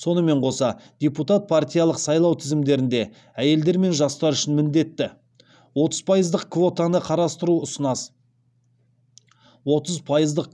сонымен қоса депутат партиялық сайлау тізімдерінде әйелдер мен жастар үшін міндетті отыз пайыздық